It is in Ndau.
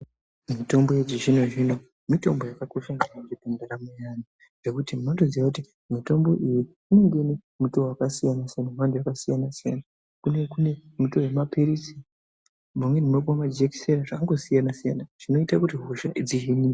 Mutombo yechizvino zvino mitombo yakakosha maningi kundaramo dzevanhu nekuti mundoziya kuti mutombo iyiinenge inenge ine mutoo wakasiyana siyana mando yakasiyana siyana kunenge kune miti yemapirizi mamwenibunopuwe majekiseni zvakangosiyana siyana zvinoite kuti hosha dzihinwe.